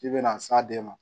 K'i bɛna s'a den ma